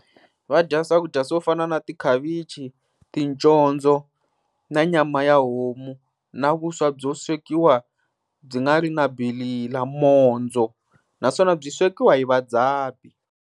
Va dya swakudya swo fana na tikhavichi, ticondzo na nyama ya homu na vuswa byo swekiwa byi nga ri na bilala mondzo naswona byi swekiwa hi vadzabi.